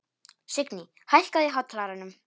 Signý, hækkaðu í hátalaranum.